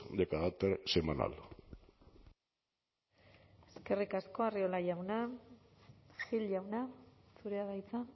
de carácter semanal eskerrik asko arriola jauna gil jauna zurea da hitza